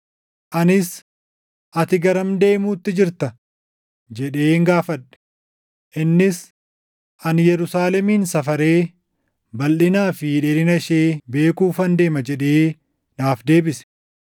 Anis, “Ati garam deemuutti jirta?” jedheen gaafadhe. Innis, “Ani Yerusaalemin safaree balʼinaa fi dheerina ishee beekuufan deema” jedhee naaf deebise.